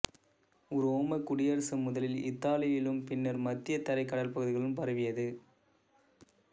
உரோமைக் குடியரசு முதலில் இத்தாலியிலும் பின்னர் மத்தியதரைக் கடல் பகுதிகளிலும் பரவியது